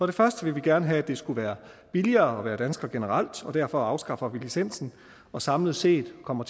det første vil vi gerne have at det skal være billigere at være dansker generelt og derfor afskaffer vi licensen og samlet set kommer